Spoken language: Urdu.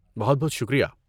بہت بہت شکریہ۔